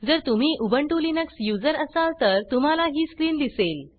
जर तुम्ही Ubuntu Linux user असाल तर तुम्हाला ही स्क्रीन दिसेल